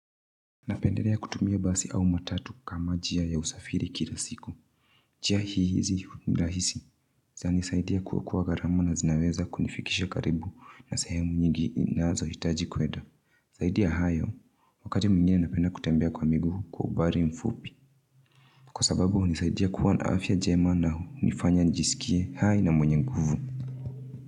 Napendelea kutumia basi au matatu kama njia ya usafiri kila siku. Njia hizi nirahisi zinanisaidia kuokoa gharama na zinaweza kunifikisha karibu na sehemu nyingi ninazo hitaji kuenda. Zaidiya hayo, wakati mwingine napenda kutembea kwa miguukwa umbali mfupi. Kwa sababu hunisaidia kuwa naafya jema na hu nifanya nijisikie hai na mwenye nguvu.